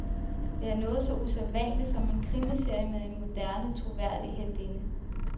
Det er noget så usædvanligt som en krimiserie med en moderne, troværdig heltinde.